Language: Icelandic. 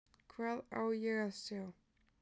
Hvað á ég að sjá?